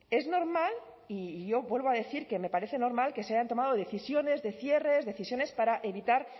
es normal y yo vuelvo a decir que me parece normal que se hayan tomado decisiones de cierre decisiones para evitar